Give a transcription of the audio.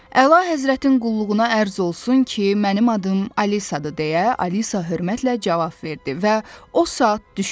Əla həzrətin qulluğuna ərz olsun ki, mənim adım Alisadır – deyə Alisa hörmətlə cavab verdi və o saat düşündü.